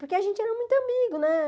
Porque a gente era muito amigo, né?